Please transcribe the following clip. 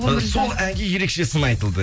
ы сол әңге ерекше сын айтылды